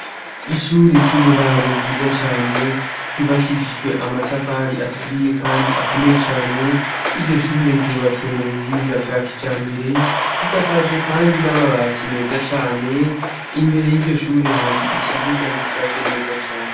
Ishure ry'uburaro ryiza cane ryubakishijwe amatavari aturiye, kandi akomeye cane 'i ryo shure ryubatswe mu buhinga bwa kica mbere risakaje, kandi n'ababati meza cane imbere y'iryo shure hari ikibuga gishashe neza cane.